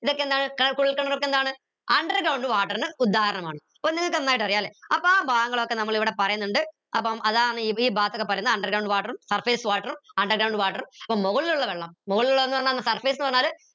ഇതൊക്കെ എന്താണ് കുഴൽക്കിണർ ഒക്കെ എന്താണ് underground water ന് ഉദാഹരണമാണ് അപ്പോ നിങ്ങക്ക് നന്നായിട്ട് അറിയാല്ലേ അപ്പോ ആ ഭാഗങ്ങളൊക്കെ നമ്മൾ ഇവിടെ പറയുന്നുണ്ട് അപ്പം അതാണ് ഈ ഭാഗത്ത് ഒക്കെ പറയ്ന്ന underground water ഉം surface water ഉം underground water ഉം മുകളിലുള്ള വെള്ളം മുകളിലുള്ള ന്ന് പറഞ്ഞ surface ന്ന് പറഞ്ഞാൽ